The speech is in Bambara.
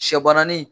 Sɛ bananin